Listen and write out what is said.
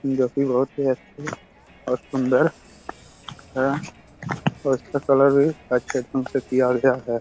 जो की बहुत अच्छे और सुंदर है और इसका कलर भी अच्छे ढंग से किया गया हैं।